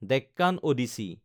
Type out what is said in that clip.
Deccan Odissi